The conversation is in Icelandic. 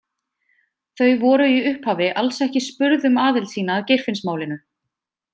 Þau voru í upphafi alls ekki spurð um aðild sína að Geirfinnsmálinu.